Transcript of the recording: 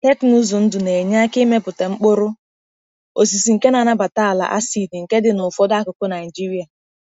Teknụzụ ndụ na-enye aka imepụta mkpụrụ osisi nke na-anabata ala acid nke dị na ụfọdụ akụkụ Naijiria.